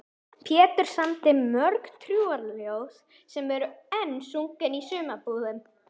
Pétur samdi mörg trúarljóð sem enn eru sungin í sumarbúðunum.